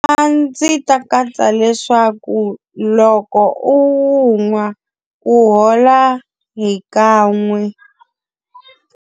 A ndzi ta katsa leswaku loko u wu nwa ku hola hi kan'we.